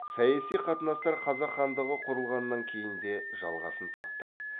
саяси қатынастар қазақ хандығы құрылғаннан кейін де жалғасын тапты